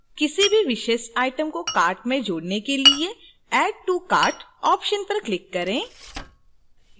किसी भी विशेष item को cart में जोड़ने के लिएadd to cart option पर click करें